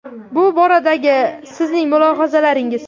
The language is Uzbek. Bu boradagi sizni mulohazalaringiz?